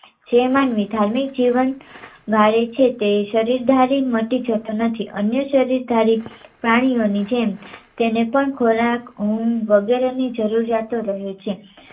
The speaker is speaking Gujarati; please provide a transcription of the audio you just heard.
જે માનવી ધાર્મિક જીવન વાળે છે તે શરીરધારી મતિ જતો નથી અન્ય શરીર ધારી પ્રાણીઓની જેમ તેને પણ ખોરાક, ઊંઘ વગેરેની જરૂરિયાતો રહે છે,